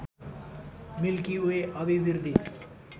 milky Way अभिवृद्धि